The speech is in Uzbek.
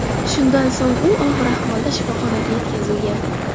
Shundan so‘ng u og‘ir ahvolda shifoxonaga yetkazilgan.